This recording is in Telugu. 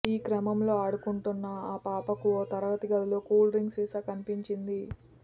ఈ క్రమంలో ఆడుకుంటున్న ఆ పాపకు ఓ తరగతి గదిలో కూల్ డ్రింక్ సీసా కనిపించింది